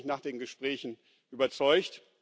Davon bin ich nach den Gesprächen überzeugt.